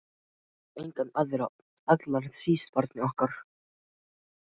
Og enga aðra- allra síst barnið okkar.